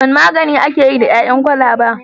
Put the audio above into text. Wane magani ake yi da ƴaƴan kwalaba?